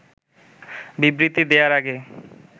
বিবৃতি দেয়ার আগে